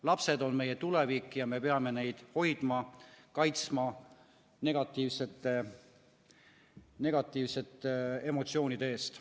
Lapsed on meie tulevik ja me peame neid hoidma, kaitsma negatiivsete emotsioonide eest.